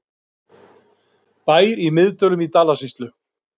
Bær í Miðdölum í Dalasýslu.